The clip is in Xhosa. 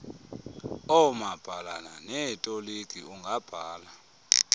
oomabhalana neetoliki ungabhala